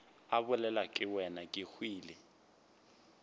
a bolelwa ke wena kehwile